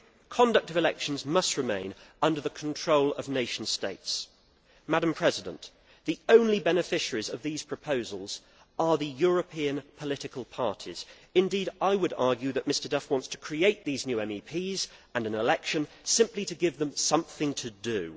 Conduct of elections must remain under the control of nation states. The only beneficiaries of these proposals are the European political parties. Indeed, I would argue that Mr Duff wants to create these new MEPs and an election, simply to give them something to do.